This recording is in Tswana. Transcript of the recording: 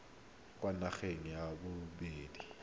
kwa nageng ya bodit haba